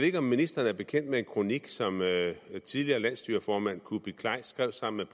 ikke om ministeren er bekendt med en kronik som tidligere landsstyreformand kuupik kleist skrev sammen